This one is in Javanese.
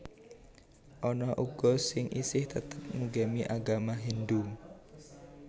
Ana uga sing isih tetep ngugemi agama Hindhu